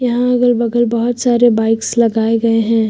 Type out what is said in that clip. यहां अगल बगल बहोत सारे बाइक्स लगाए गए हैं।